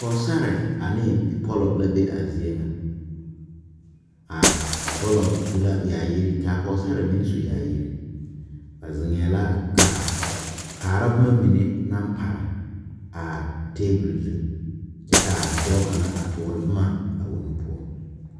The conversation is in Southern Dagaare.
Pɔgesare ane bipɔlo la be a zie nyɛ a bipɔlɔ su la yaayiri kaa pɔgsari meŋ su yaayi ba ziŋee la kaara boma mine naŋ pare taabol zu kyɛ kaa dɔɔ kaŋa tɔɔri boma a o nu poɔ.